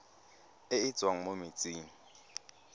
e e tswang mo metsing